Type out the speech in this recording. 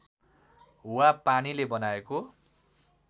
वा पानीले बनाएको